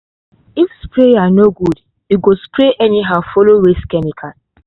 if sprayer no good e go spray anyhow follow waste chemical.